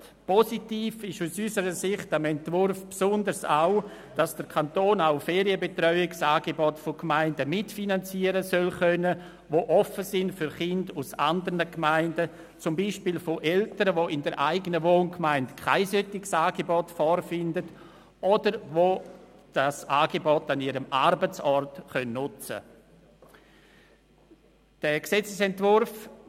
Positiv am Entwurf ist aus unserer Sicht insbesondere auch, dass der Kanton auch Ferienbetreuungsangebote von Gemeinden mitfinanzieren kann, die offen sind für Kinder aus anderen Gemeinden, zum Beispiel von Eltern, die in ihrer eigenen Wohngemeinde kein solche Angebot vorfinden oder die das Angebot an ihrem Arbeitsort nutzen können.